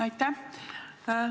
Aitäh!